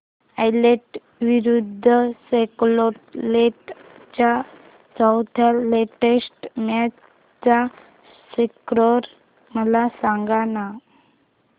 Ireland विरूद्ध Scotland च्या चौथ्या टेस्ट मॅच चा स्कोर मला सांगना